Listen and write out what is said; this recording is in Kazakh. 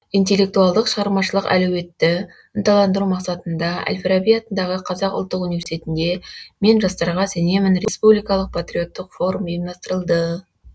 интеллектуалдық шығармашылық әлеуетті ынталандыру мақсатында әл фараби атындағы қазақ ұлттық университетінде мен жастарға сенемін республикалық париоттық форум ұйымдастырылды